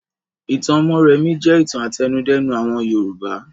Ìtàn Mórèmí jẹ́ ìtàn àtẹnudẹ́nu àwọn Yorùbá.